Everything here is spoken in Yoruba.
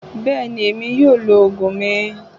Bẹ́ẹ̀ ni, èmi yóò lo òògùn mi